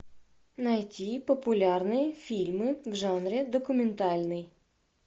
найти популярные фильмы в жанре документальный